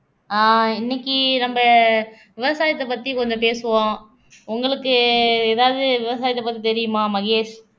ஆஹ் இன்னைக்கு நம்ம விவசாயத்தை பத்தி கொஞ்சம் பேசுவோம் உங்களுக்கு ஏதாவது விவசாயத்தை பத்தி தெரியுமா மகேஷ்